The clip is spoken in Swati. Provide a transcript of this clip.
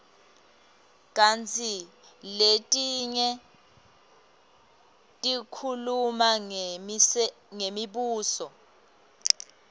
kantsi letinye tikhuluma ngemibuso